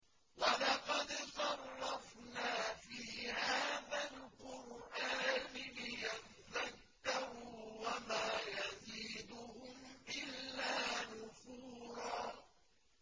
وَلَقَدْ صَرَّفْنَا فِي هَٰذَا الْقُرْآنِ لِيَذَّكَّرُوا وَمَا يَزِيدُهُمْ إِلَّا نُفُورًا